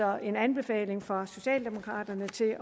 er en anbefaling fra socialdemokraterne til